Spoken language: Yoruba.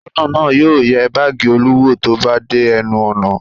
Aṣọ́nà náà yóò yẹ báágì Olú wò tó bá dé ẹnu ọ̀nà.